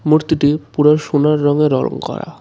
মূর্তিটি পুরো সোনার রঙে র-রঙ করা .